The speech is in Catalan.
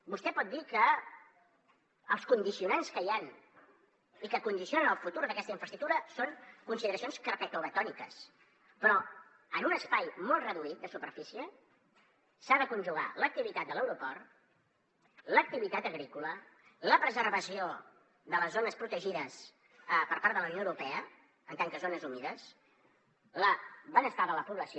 vostè pot dir que els condicionants que hi han i que condicionen el futur d’aquesta infraestructura són consideracions carpetovetòniques però en un espai molt reduït de superfície s’ha de conjugar l’activitat de l’aeroport l’activitat agrícola la preservació de les zones protegides per part de la unió europea com a zones humides el benestar de la població